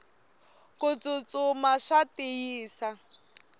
kutsutsuma swa tiyisa